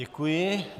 Děkuji.